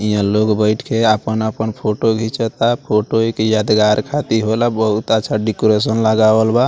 यहाँ लोग बैठ के अपन-अपन फोटो घीचाता फोटो एक यादगार खतिर होला बहुत अच्छा डेकोरेशन लगावल बा।